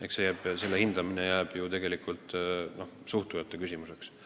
Eks selle hindamine jääb küsijate probleemiks.